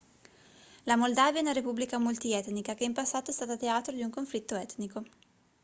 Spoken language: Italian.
la moldavia è una repubblica multietnica che in passato è stata teatro di un conflitto etnico